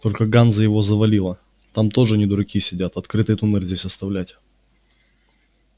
только ганза его завалила там тоже не дураки сидят открытый туннель здесь оставлять